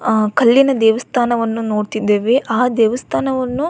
ಆ ಕಲ್ಲಿನ ದೇವಸ್ಥಾನವನ್ನು ನೋಡ್ತಿದ್ದೇವೆ ಆ ದೇವಸ್ಥಾನವನ್ನು --